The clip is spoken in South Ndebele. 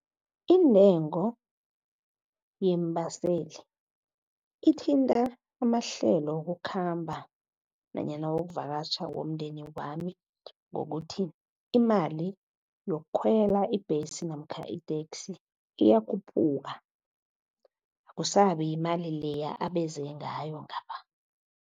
Intengo yeembaseli ithinta amahlelo wokukhamba nanyana wokuvakatjha womndeni wami ngokuthi imali yokukhwela ibhesi namkha iteksi iyakhuphuka. Akusabi yimali leya abeze ngayo ngapha.